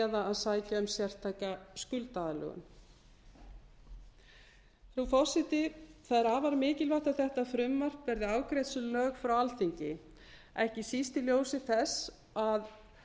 eða að sækja um sérstaka skuldaaðlögun frú forseti það er afar mikilvægt að þetta frumvarp verði afgreitt sem lög frá alþingi ekki síst í ljósi þess að